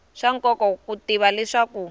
swa nkoka ku tiva leswaku